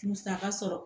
Musaka sɔrɔ